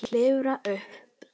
Klifrar upp.